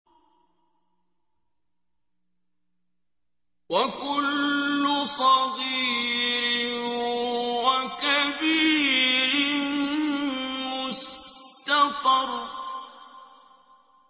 وَكُلُّ صَغِيرٍ وَكَبِيرٍ مُّسْتَطَرٌ